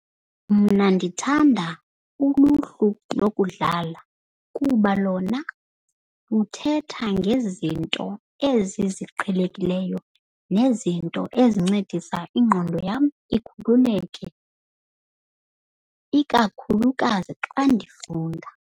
Mna ndithanda uluhlu lokudlala kuba lona luthetha ngezi zinto ezi ziqhelekileyo nezinto ezincedisa ingqondo yam ikhululeke. Ikakhulukazi xa ndifunda.